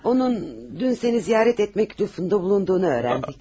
Onun dün səni ziyarət etmək lütfündə bulunduğunu öyrəndik.